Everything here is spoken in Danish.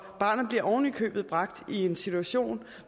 barnet bliver oven i købet bragt i en situation